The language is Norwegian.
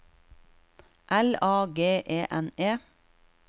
L A G E N E